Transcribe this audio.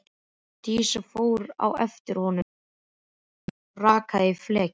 Dísa fór á eftir honum síðdegis og rakaði í flekki.